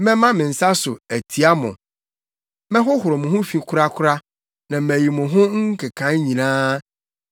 Mɛma me nsa so, atia mo; mɛhohoro mo ho fi korakora na mayi mo ho nkekae nyinaa.